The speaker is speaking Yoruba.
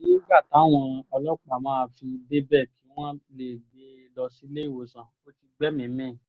àmọ́ nígbà táwọn ọlọ́pàá máa fi débẹ̀ kí wọ́n lè gbé e lọ sílé ìwòsàn ò ti gbẹ́mìí mì